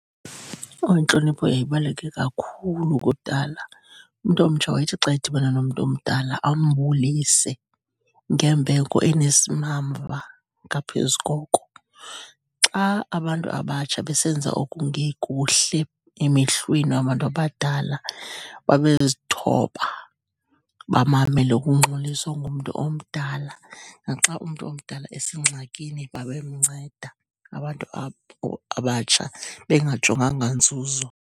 Owu, intlonipho yayibaluleke kakhulu kudala. Umntu omtsha wayethi xa edibene nomntu omdala ambulise ngembeko enesimamva ngaphezu koko. Xa abantu abatsha besenza okungekuhle emehlweni wabantu abadala babezithoba, bamamele ukungxoliswa ngumntu omdala. Naxa umntu omdala esengxakini babemnceda abantu abatsha, bengajonganga nzuzo.